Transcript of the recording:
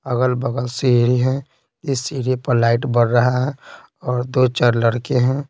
अगल-बगल सीढ़ी है इस सीढ़े पर लाइट बढ़ रहा है और दो-चार लड़के हैं।